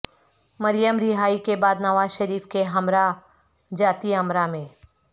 مریم رہائی کے بعد نواز شریف کے ہمراہ جاتی امرا میں